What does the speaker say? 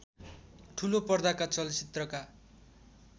ठूलो पर्दाका चलचित्रका